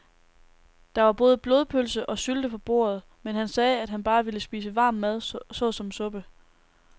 Der var både blodpølse og sylte på bordet, men han sagde, at han bare ville spise varm mad såsom suppe.